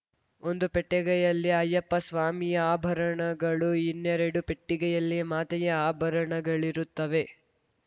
ಒಂದು ಪೆಟ್ಟೆಗೆಯಲ್ಲಿ ಅಯ್ಯಪ್ಪ ಸ್ವಾಮಿಯ ಆಭರಣಗಳು ಇನ್ನೆರಡು ಪಟ್ಟಿಗೆಯಲ್ಲಿ ಮಾತೆಯ ಆಭರಣಗಳಿರುತ್ತವೆ